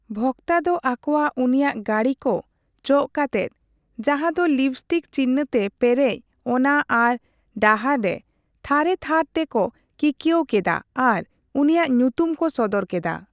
ᱵᱷᱚᱠᱛᱟ ᱫᱚ ᱟᱠᱚᱣᱟᱜ ᱩᱱᱤᱭᱟᱜ ᱜᱟᱺᱰᱤ ᱠᱚ ᱪᱚᱜ ᱠᱟᱛᱮᱫ, ᱡᱟᱦᱟᱸᱫᱚ ᱞᱤᱯᱤᱥᱴᱤᱠ ᱪᱤᱱᱦᱟᱹ ᱛᱮ ᱯᱮᱨᱮᱡ ᱚᱱᱟ ᱟᱨ ᱰᱟᱦᱟᱨ ᱨᱮ ᱛᱷᱟᱨᱮᱛᱷᱟᱨ ᱛᱮ ᱠᱚ ᱠᱤᱠᱣᱟᱹᱣ ᱠᱮᱫᱟ ᱟᱨ ᱩᱱᱤᱭᱟᱜ ᱧᱩᱛᱩᱢ ᱠᱚ ᱥᱚᱫᱚᱨ ᱠᱮᱫᱟ ᱾